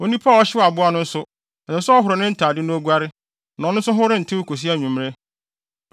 Onipa a ɔhyew aboa no nso, ɛsɛ sɛ ɔhoro ne ntade na oguare, na ɔno nso ho rentew kosi anwummere.